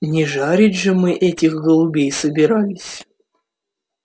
не жарить же мы этих голубей собирались